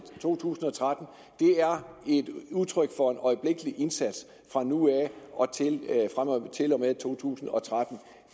to tusind og tretten er et udtryk for en øjeblikkelig indsats fra nu af og til og med to tusind og tretten